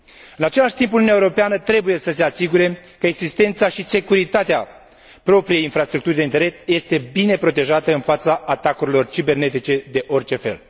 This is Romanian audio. În același timp Uniunea Europeană trebuie să se asigure că existența și securitatea propriei infrastructuri de internet este bine protejată în fața atacurilor cibernetice de orice fel.